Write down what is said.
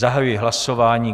Zahajuji hlasování.